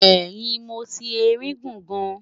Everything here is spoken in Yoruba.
ẹhìn moti erin guun gaan